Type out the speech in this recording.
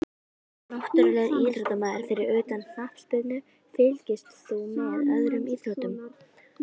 Náttúrulegur íþróttamaður Fyrir utan knattspyrnu, fylgist þú með öðrum íþróttum?